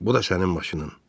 Bu da sənin maşının.